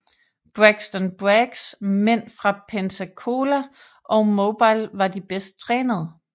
Braxton Braggs mænd fra Pensacola og Mobile var de bedst trænede